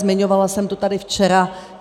Zmiňovala jsem to tady včera.